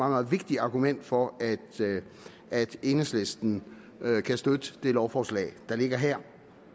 meget vigtigt argument for at enhedslisten kan støtte det lovforslag der ligger her